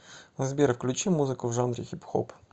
сбер включи музыку в жанре хип хоп